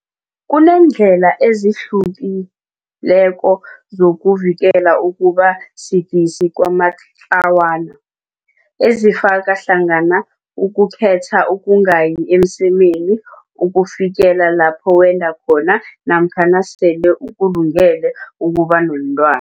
Kuneendlela ezi hlukileko zoku vikela ukuba sidisi kwamatlawana, ezifaka hlangana ukukhetha ukungayi emsemeni ukufikela lapho wenda khona namkha nasele ukulungele ukuba nabentwa